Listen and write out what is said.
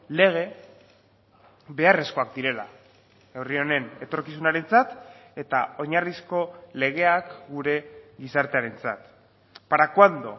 lege beharrezkoak direla herri honen etorkizunarentzat eta oinarrizko legeak gure gizartearentzat para cuándo